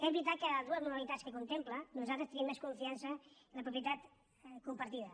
és veritat que de les dues modalitats que contempla nosaltres tenim més confiança en la propietat compartida